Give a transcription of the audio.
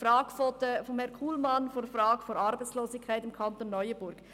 Die Frage von Herrn Kullmann zur Arbeitslosigkeit im Kanton Neuenburg: